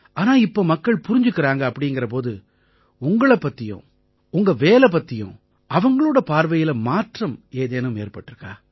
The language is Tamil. ஆனா இப்ப மக்கள் புரிஞ்சுக்கறாங்க அப்படீங்கற போது உங்களைப் பத்தியும் உங்க வேலை பத்தியும் அவங்களோட பார்வையில மாற்றம் ஏதேனும் ஏற்பட்டிருக்கா